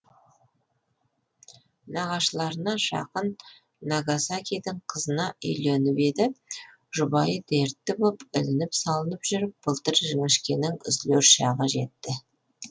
нағашыларына жақын нагасакидің қызына үйленіп еді жұбайы дертті боп ілініп салынып жүріп былтыр жіңішкенің үзілер шағы жетті